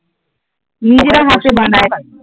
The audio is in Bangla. নিজেরা হাতে বানায়